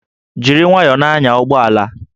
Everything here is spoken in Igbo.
Jiri nwayọọ na-anya ụgbọ ala!